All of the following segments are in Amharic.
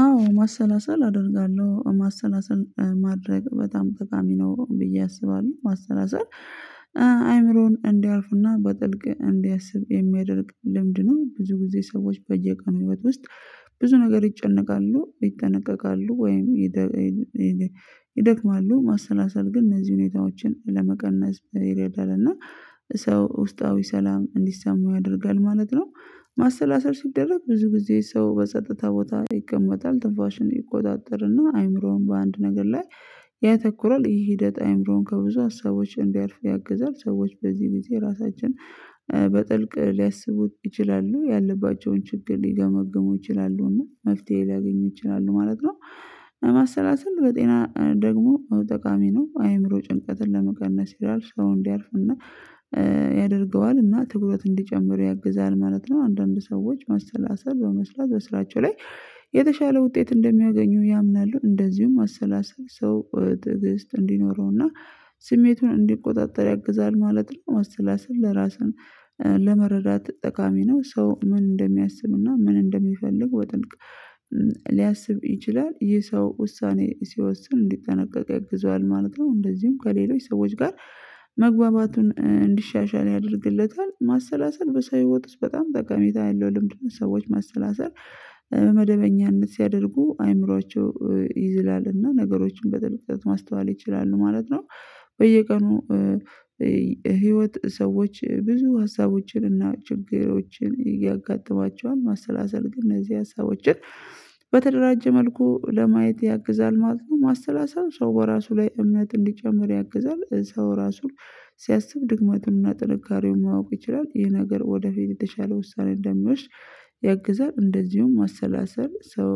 አዎ ማሰላሰል አደርጋለሁ ማሰላሰል ማድረግ በጣም ጠቃሚ ነው። ብዬ አስባለሁ ማሰላሰል አይምሮን እንዲያርፍና በጥልቅ እንዲያስብ የሚያደርግ ልምድ ነው። ብዙ ጊዜ ሰዎች በየቀኑ ህይወት ውስጥ ብዙ ነገር ይጨነቃሉ ይጠነቀቃሉ ወይም። ይደክማሉ ማሰላሰል ግን እነዚህ ሁኔታዎችን ለመቀነስ ይረዳል እና ሰው ውስጣዊ ሰላም እንዲሰማው ያደርጋል ማለት ነው። ማሰላሰል ሲደረግ ብዙ ጊዜ ሰው በጸጥታ ቦታ ይቀመጣል ትፋሽን ይቆጣጠርና አይምሮን በአንድ ነገር ላይ ያተኩራል። ይሄ ሂደት አይምሮን ከብዙ ሀሳቦች እንዲያልፉ ያግዛል። ሰዎች በዚህ ጊዜ ራሳችን በጥልቅ ሊያስቡት ይችላሉ ያለባቸውን ችግር ሊገመግሙ ይችላሉና መፍትሄ ሊያገኙ ይችላሉ ማለት ነው። ማሰላሰል በጤና ደግሞ ጠቃሚ ነው አይምሮ ጭንቀትን ለመቀነስ ይረዳል። ሰው እንዲያርፍና ያደርገዋል እና ትኩረት እንዲጨምር ያግዛል ማለት ነው። አንዳንድ ሰዎች ማሰላሰል በመስራት በስራቸው ላይ የተሻለ ውጤት እንደሚያገኙ ያምናሉ። እንደዚሁም ማሰላሰል ሰው ትዕግስት እንዲኖረውና ስሜቱን እንዲቆጣጠር ያግዛል ማለት ነው። ማሰላሰል ለራስን ለመረዳት ጠቃሚ ነው። ሰው ምን እንደሚያስብና ምን እንደሚፈልግ በጥልቅ ሊያስብ ይችላል። ይህ ሰው ውሳኔ ሲወስን እንዲጠነቀቅ ያግዟል ማለት ነው። እንደዚሁም ከሌሎች ሰዎች ጋር መግባባቱን እንዲሻሻል ያደርግለታል። ማሰላሰል በሰው ህይወት ውስጥ በጣም ጠቀሜታ ያለው ልምድ ነው። ሰዎች ማሰላሰል በመደበኛነት ሲያደርጉ አእምሮአቸው ይዝላልና ነገሮችን በጥልቀት ማስተዋል ይችላሉ ማለት ነው። በየቀኑ ህይወት ሰዎች ብዙ ሀሳቦችን እና ችግሮችን እያጋጠማቸዋል። ማሰላሰል ግን እነዚህ ሀሳቦችን በተደራጀ መልኩ ለማየት ያግዛል ማለት ነው። ማሰላሰል ሰው በራሱ ላይ እምነት እንዲጨመር ያግዛል። ሰው ራሱን ሲያስብ ድክመቱንና ጥንካሬውን ማወቅ ይችላል። ይሄ ነገር ወደፊት የተሻለ ውሳኔ እንደሚወስድ ያግዛል። እንደዚሁም ማሰላሰል ሰው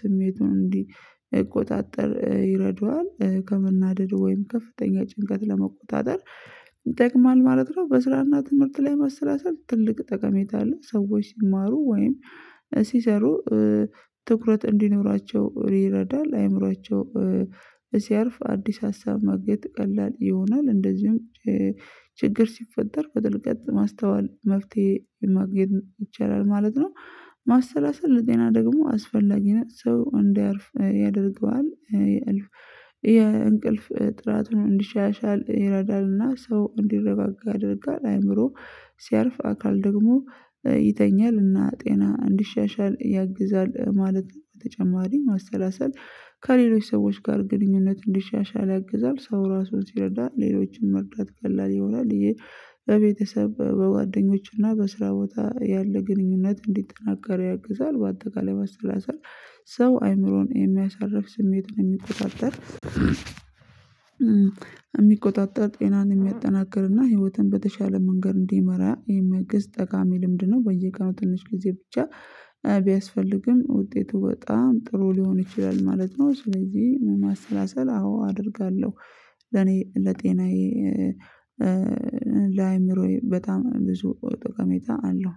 ስሜቱን እንዲቆጣጠር ይረዱዋል ከመናደድ ወይም ከፍተኛ ጭንቀት ለመቆጣጠር ይጠቅማል ማለት ነው። በስራና ትምህርት ላይ ማሰላሰል ትልቅ ጠቀሜታ አለው። ሰዎች ሲማሩ ወይም ሲሰሩ ትኩረት እንዲኖራቸው ይረዳል። አይምሯቸው ሲያርፍ አዲስ ሀሳብ ማግኘት ቀላል ይሆናል። እንደዚሁም ችግር ሲፈጠር በጥልቀት ማስተዋል መፍትሄ የማግኘት ይቻላል ማለት ነው። ማሰላሰል ለጤና ደግሞ አስፈላጊ ነው ሰው እንዲያርፍ ያደርገዋል። የእንቅልፍ ጥራት እንዲሻሻል ይረዳልና ሰው እንዲረጋጋ ያደርጋል። አእምሮ ሲያርፍ አካል ደግሞ ይተኛልና እና ጤና እንዲሻሻል ያግዛል። ማለት በተጨማሪ ማሰላሰል ከሌሎች ሰዎች ጋር ግንኙነት እንዲሻሻል ያግዛል። ሰው ራሱን ሲረዳ ሌሎችን መቅጣት ቀላል ይሆናል። ይህ በቤተሰብ በጓደኞችና በስራ ቦታ ያለ ግንኙነት እንዲጠናከር ያግዛል። በአጠቃላይ ማሰላሰል ሰው አይምሮን የሚያሳርፍ ስሜትን የሚቆጣጠር የሚቆጣጠር ጤናን የሚያጠናክርና ህይወትን በተሻለ መንገድ እንዲመራ የሚያግዝ ጠቃሚ ልምድ ነው። በየቀኑ ትንሽ ጊዜ ብቻ ቢያስፈልግም ውጤቱ በጣም ጥሩ ሊሆን ይችላል ማለት ነው። ስለዚህ ማሰላሰል አዎ አደርጋለሁ ለኔ ለጤናዬ ለአእምሮዬ በጣም ብዙ ጥቀሜታ አለው